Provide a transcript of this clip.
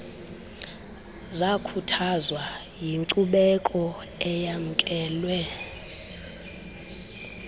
zakhuthazwa yinkcubeko eyamkelwe